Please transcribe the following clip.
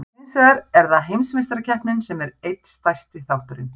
Hins vegar er það Heimsmeistarakeppnin sem er einn stærsti þátturinn.